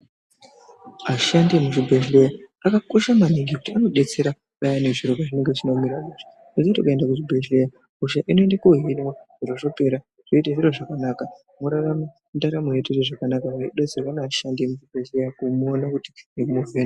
Ashandi emuzvibhehlera anokosha maningi anodetsera payani zviro zvisina kumira mushe, asi kuti ukaenda kuzvibhelera hosha inoende kohinwa zvotopera zvoita zviro zvakanaka worarame ndaramo yakanaka weidetserwa ngeashandi emuzvibhehlera kuona nekuvheneka.